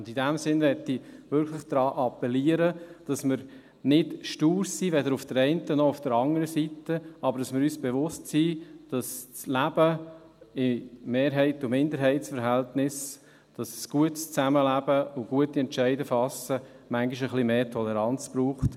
Und in diesem Sinne möchte ich wirklich appellieren, dass wir nicht stur sind, weder auf der einen noch auf der anderen Seite, aber dass wir uns bewusst sind, dass das Leben Mehrheits- und Minderheitsverhältnissen, das gute Zusammenleben und gute Entscheidungen zu fassen, manchmal etwas mehr Toleranz braucht.